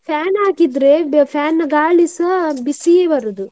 Fan ಹಾಕಿದ್ರೆ ಬ~ fan ನ ಗಾಳಿಸಾ ಬಿಸಿಯೇ ಬರೋದು.